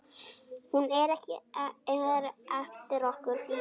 Hún er eftir okkur Dídí.